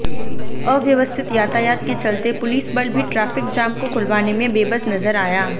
अव्यवस्थित यातायात के चलते पुलिस बल भी ट्रैफिक जाम को खुलवाने में बेबस नजर आया